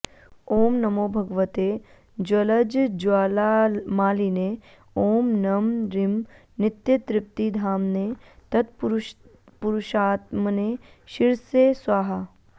ॐ नमो भगवते ज्वलज्ज्वालामालिने ॐ नं रीं नित्यतृप्तिधाम्ने तत्पुरुषात्मने शिरसे स्वाहा